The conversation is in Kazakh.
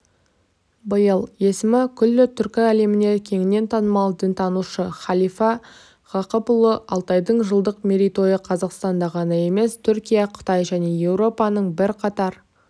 биыл есімі күллі түркі әлеміне кеңінен танымал дінтанушы халифа ғақыпұлы алтайдың жылдық мерейтойы қазақстанда ғана емес түркия қытай және еуропаның бірқатар